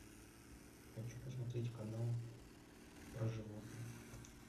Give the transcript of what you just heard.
хочу посмотреть канал про животных